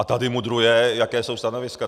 A tady mudruje, jaká jsou stanoviska.